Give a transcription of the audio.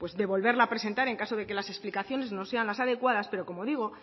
de volverla a presentar en caso de que las explicaciones no sean las adecuadas pero como digo